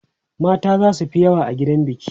mata zasu Fi yawa a gidan biki